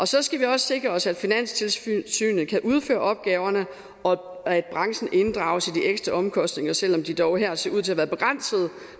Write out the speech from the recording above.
så skal vi også sikre os at finanstilsynet kan udføre opgaverne og at branchen inddrages i de ekstra omkostninger selv om de dog her ser ud til været begrænsede